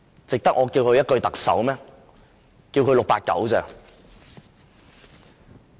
值得我叫他一聲特首嗎？